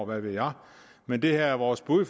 hvad ved jeg men det her er vores bud